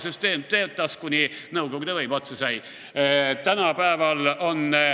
Süsteem töötas, kuni nõukogude võim otsa sai.